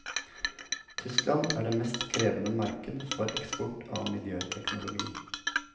Tyskland er det mest krevende marked for eksport av miljøteknologi.